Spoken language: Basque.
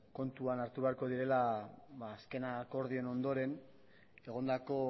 kontuan hartu beharko direla azken akordioaren ondoren egondako